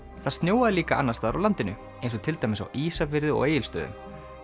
það snjóaði líka annars staðar á landinu eins og til dæmis á Ísafirði og Egilsstöðum